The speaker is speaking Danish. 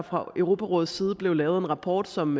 fra europarådets side blev lavet en rapport som